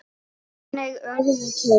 Þannig urðu til